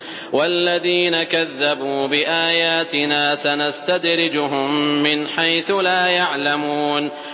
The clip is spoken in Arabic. وَالَّذِينَ كَذَّبُوا بِآيَاتِنَا سَنَسْتَدْرِجُهُم مِّنْ حَيْثُ لَا يَعْلَمُونَ